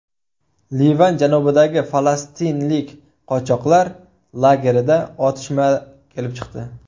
Livan janubidagi falastinlik qochoqlar lagerida otishma kelib chiqdi.